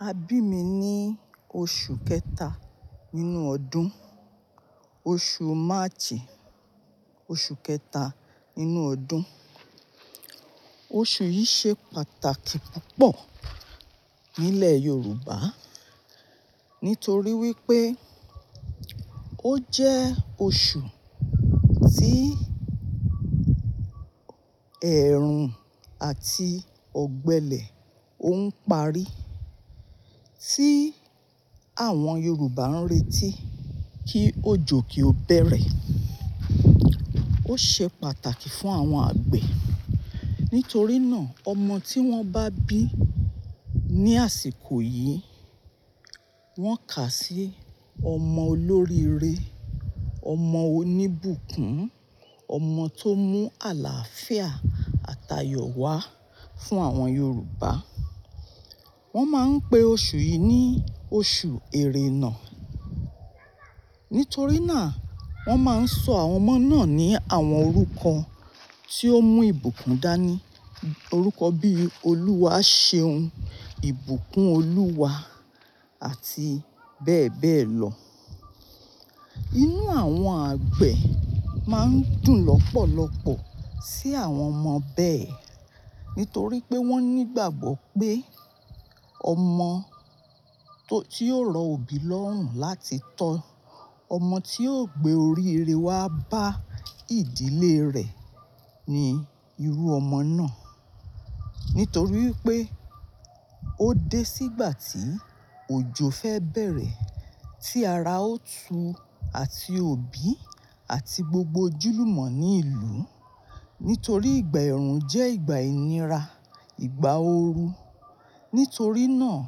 A bi mi ni oṣu kẹta ninu ọdun, oṣu March, oṣu kẹta ninu ọdun. Oṣu yi ṣe pataki pupọ nilẹ Yoruba nitori wipe o jẹ oṣu ti ẹrun ati ogbele o n pari, ti awọn Yoruba n reti ki ojo ki o bẹrẹ. O ṣe pataki fun awọn agbe nitori naa ọmọ ti wọn ba bi ni asiko yii, wọn ka si ọmọ olori ire, ọmọ onibukun, ọmọ to mu alaafia ati ayọ wa fun awọn Yoruba. Won ma n pe oṣu yi ni oṣu erènà Nitori naa, wọn ma n sọ awọn ọmọ naa ni awọn orukọ ti o mu ibukun dani, orukọ bi Oluwa ṣeun, ibukun Oluwa ati bẹẹ bẹẹ lọ. Inu awọn agbe ma n dun lọpọlọpọ si awọn ọmọ bẹẹ nitori pe wọn nigbagbo pe ọmọ to ti yoo rọ obi lọ́hùn lati tọ, ọmọ ti yoo gbe oriire wa ba idile rẹ ni iru ọmọ naa. Nitori wipe o de si igba ti ojo fẹ bẹrẹ, ti ara o tu ati obi ati gbogbo ojúlumọ ni ilu. Nitori igba ẹrun jẹ igba inira, igba ooru. Nitori naa,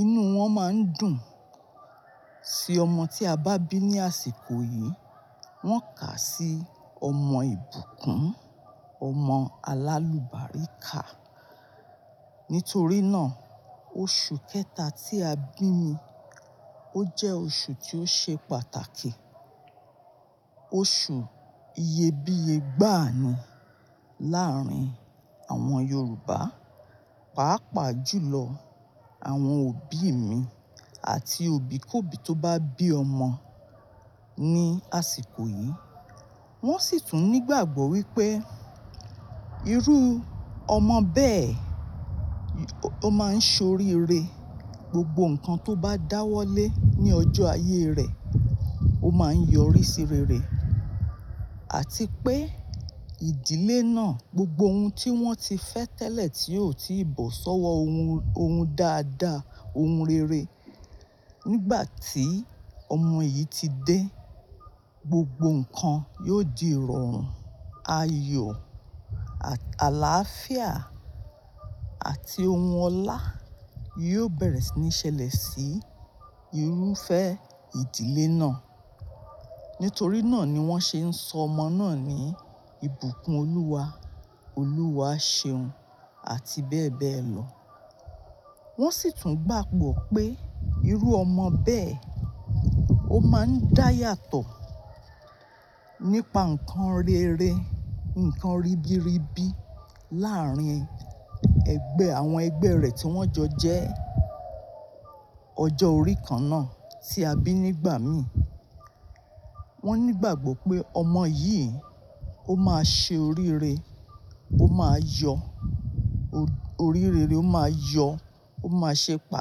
inu wọn ma n dun si ọmọ ti a ba bi ni asiko yii, wọn ka si ọmọ ibukun, ọmọ alalu barika. Nitori naa, oṣu kẹta ti a bi mi, o jẹ oṣu ti o ṣe pataki, oṣu iyebiye gbanu laarin awọn Yoruba, paapaa julọ awọn obi mi ati obi kobi to ba bi ọmọ ni asiko yii. Won si tun nigbagbo wipe iru ọmọ bẹẹ, o ma n sọ oriire, gbogbo nkan to ba dawọle ni ọjọ aye rẹ, o ma n yọ ori si rere. Ati pe idile naa gbogbo ohun ti wọn ti fẹ tẹlẹ ti o ti bọ sọwọ ohun, ohun dada, ohun rere. Nigba ti ọmọ yii ti de, gbogbo nkan yoo di rọrun, ayọ, alaafia ati ohun ọla yoo bẹrẹ ni ṣẹlẹ si irufẹ idile naa. Nitori naa ni wọn ṣe n sọ ọmọ naa ni ibukun Oluwa, Oluwa ṣeun ati bẹẹ bẹẹ lọ. Won si tun gbagbo pe iru ọmọ bẹẹ, o ma n daya tọ nipa nkan rere, nkan ribiribi laarin ẹgbẹ awọn ẹgbẹ rẹ ti wọn jọ jẹ ọjọ ori kan naa ti a bi nigba mi. Won nigbagbo pe ọmọ yii, o ma ṣe oriire, o ma yọ, oriire re o ma yọ, o ma ṣe pa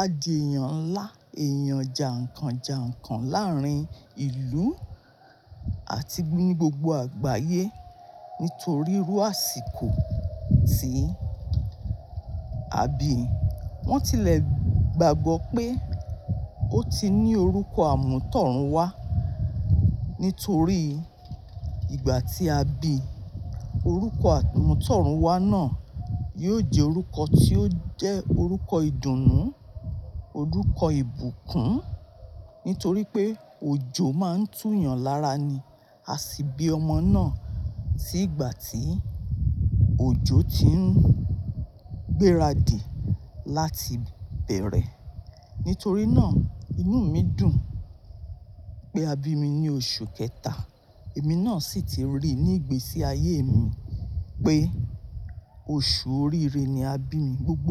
adeyan nla, eeyan jà nkàn jà nkàn laarin ilu ati ni gbogbo agbaye nitori iru asiko ti a bi. Won tilẹ gbagbo pe o ti ni orukọ amutorunwa nitori igba ti a bi, orukọ amutorunwa naa yoo jẹ orukọ ti o jẹ orukọ idunnu, orukọ ibukun nitori pe ojo ma n tu yan lara ni a si bi ọmọ naa ti igba ti ojo ti n gberadi lati bẹrẹ. Nitori naa, inu mi dun pe a bi mi ni oṣu kẹta. Emi naa si ti ri ni igbesi aye mi pe oṣu oriire ni a bi mi gbogbo.